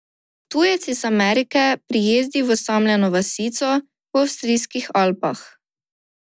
Tujec iz Amerike prijezdi v osamljeno vasico v avstrijskih Alpah.